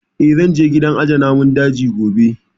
Eh, zan je gidan aje namun daji gobe